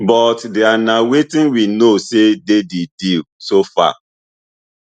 but dia na wetin we know say dey di deal so far